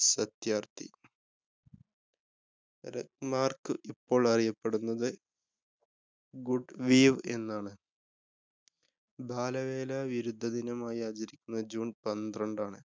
Satyarthi. rugmark ക്ക് ഇപ്പോള്‍ അറിയപ്പെടുന്നത് goodweave എന്നാണ്. ബാലവേല വിരുദ്ധ ദിനമായി ആചരിക്കുന്നത് june പന്ത്രണ്ടാണ്.